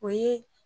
O ye